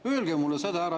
Öelge mulle seda!